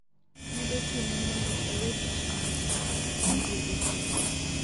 nedochune mondo owe tich mar konyo jowuoth e kambi no